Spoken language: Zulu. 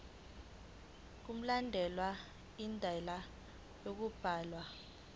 mkulandelwe indlela yokubhalwa